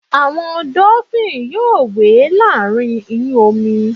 àwọn dolphin yíò we láàrín iyun omi